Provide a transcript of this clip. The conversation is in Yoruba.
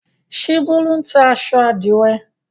Ṣé Bólú ń ta aṣọ àdìrẹ́?